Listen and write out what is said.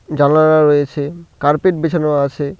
জানালা রয়েছে কার্পেট বিছানো আছে।